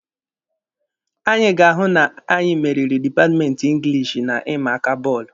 Anyị ga-ahụ na anyị meriri dipatmenti Ingilishi na ịma aka bọọlụ.